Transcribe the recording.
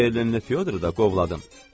O Berlinli Fyodr da qovladım.